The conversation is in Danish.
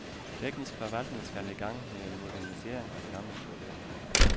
Teknisk forvaltning skal i gang med en modernisering af det gamle toilet.